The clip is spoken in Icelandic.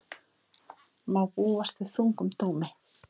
Má búast við þungum dómi